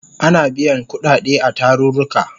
Ana biyan kudade a tarurruka